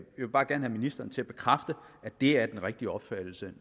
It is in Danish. vil bare gerne have ministeren til at bekræfte at det er den rigtige opfattelse